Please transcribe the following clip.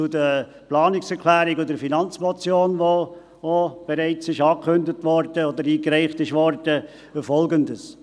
Zur Planungserklärung und zur Finanzmotion (), die bereits angekündigt oder eingereicht worden ist: